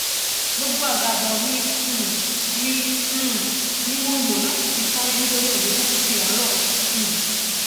gbogbo àgàbọ mi um mi um ni mo lò láti fi sáré nítorí òjò kúkú tiẹ ń rọ um